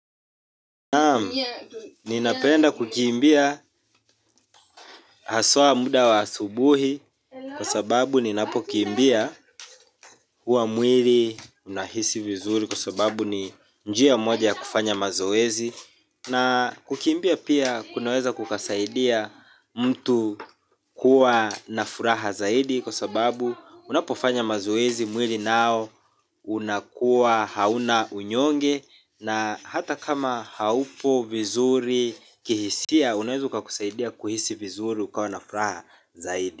Naam, ninapenda kukiimbia haswa muda wa asubuhi. Kwa sababu ninapo kiimbia hua mwili unahisi vizuri. Kwa sababu ni njia moja ya kufanya mazoezi. Na kukiimbia pia kunaweza kukasaidia mtu kuwa na furaha zaidi. Kwa sababu unapo fanya mazoezi mwili nao unakuwa hauna unyonge. Na hata kama haupo vizuri kihisia unaeza kukasaidia kuhisi vizuri ukawa nafraha zaidi.